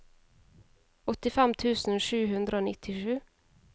åttifem tusen sju hundre og nittisju